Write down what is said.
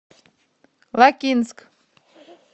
лакинск